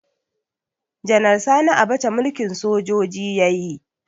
Janar Sani Abacha mulkin sojoji yayi